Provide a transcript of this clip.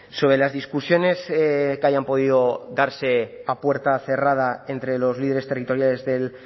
sobre las discusiones que hayan podido darse a puerta cerrada entre los líderes territoriales del